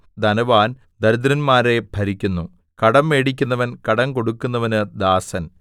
ധനവാൻ ദരിദ്രന്മാരെ ഭരിക്കുന്നു കടം മേടിക്കുന്നവൻ കടം കൊടുക്കുന്നവന് ദാസൻ